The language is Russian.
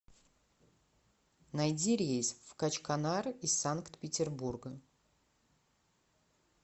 найди рейс в качканар из санкт петербурга